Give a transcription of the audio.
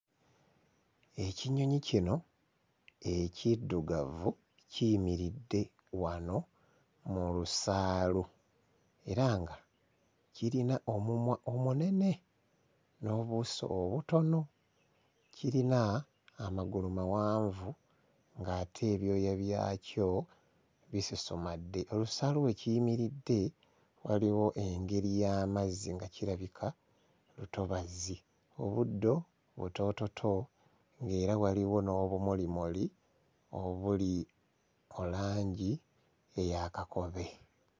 Ekinyonyi kino ekiddugavu kiyimiridde wano mu lusaalu era nga kirina omumwa omunene n'obuuso obutono, kirina amagulu mawanvu ng'ate ebyoya byakyo bisusumadde. Olusaalu we kiyimiridde waliwo engeri y'amazzi, nga kirabika lutobazi. Obuddo butoototo ng'era waliwo n'obumulimuli obuli mu langi eya kakobe.